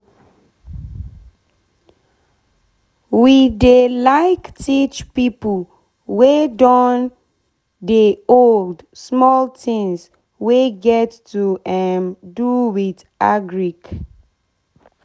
we dey like teach pipo wey don pipo wey don dey old small tins wey get to um do with agric